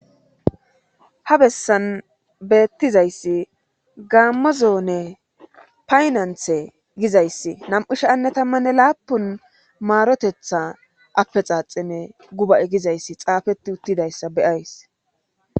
ha bessan beettizayssi gaammozoone paynanthe gizayssi nam7u sha"anne tammanne laapun maarotetha appe xaaxime guba7 gizayssi xaafeti uttidayssa beyays